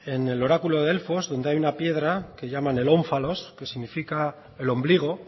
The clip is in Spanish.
en el oráculo de delfos donde hay una piedra que llaman el ónfalos que significa el ombligo